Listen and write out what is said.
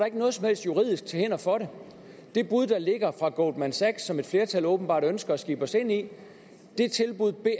ikke noget som helst juridisk til hinder for det det bud der ligger fra goldman sachs som et flertal åbenbart ønsker at skibe os ind i